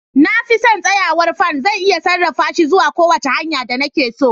Na fi son tsayawar fan, zan iya sarrafa shi zuwa kowace hanya da nake so.